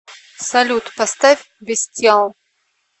салют поставь бестиал